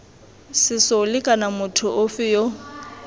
sesole kana motho ofe yo